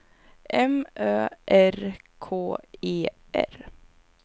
M Ö R K E R